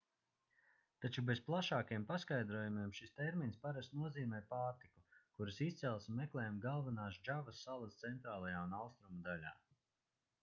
taču bez plašākiem paskaidrojumiem šis termins parasti nozīmē pārtiku kuras izcelsme meklējama galvenās džavas salas centrālajā un austrumu daļā